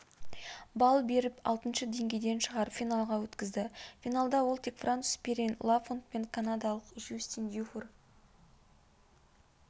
балл беріп алтыншы деңгейден шығарып финалға өткізді финалда ол тек француз перин лафонт пен канадалық жюстин-дюфур